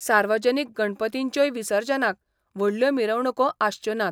सार्वजनीक गणपतींच्योय विसर्जनाक व्हडल्यो मिरवणुको आसच्यो नात.